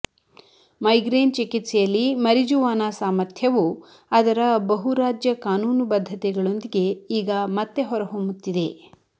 migraine ಚಿಕಿತ್ಸೆಯಲ್ಲಿ marijuana ಸಾಮರ್ಥ್ಯವು ಅದರ ಬಹು ರಾಜ್ಯ ಕಾನೂನುಬದ್ಧತೆಗಳೊಂದಿಗೆ ಈಗ ಮತ್ತೆ ಹೊರಹೊಮ್ಮುತ್ತಿದೆ